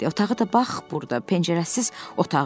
Otağı da bax burda, pəncərəsiz otağı.